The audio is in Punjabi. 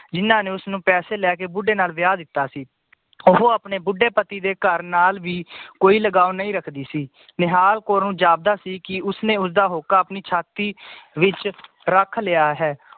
ਜਿਨਾਂ ਨੇ ਉਸਨੂੰ ਪੈਸੇ ਲੈ ਕੇ ਬਦੁਹੇ ਨਾਲ ਵਿਆਹ ਦਿੱਤਾ ਸੀ ਉਹ ਆਪਣੇ ਬੁੱਢੇ ਪਤੀ ਦੇ ਘਰ ਨਾਲ ਵੀ ਕੋਈ ਲਗਾਵ ਨਈ ਰੱਖਦੀ ਸੀ ਨਿਹਾਲ ਕੌਰ ਨੂੰ ਜਾਪਦਾ ਸੀ ਕਿ ਉਸਨੇ ਆਪਣਾ ਹੋਕਾ ਆਪਣੀ ਛਾਤੀ ਵਿਚ ਰੱਖ ਲਿਆ ਹੈ